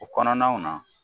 U kɔnɔnaw na